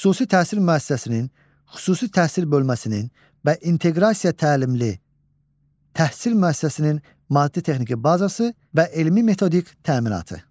Xüsusi təhsil müəssisəsinin, xüsusi təhsil bölməsinin və inteqrasiya təlimli təhsil müəssisəsinin maddi-texniki bazası və elmi-metodik təminatı.